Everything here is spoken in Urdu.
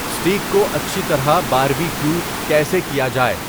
سٹیک کو اچھی طرح باربی کیو کیسے کیا جائے